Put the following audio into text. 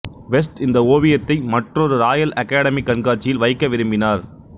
west இந்த ஓவியத்தை மற்றொரு ராயல் அகாடெமி கண்காட்சியில் வைக்க விரும்பினார்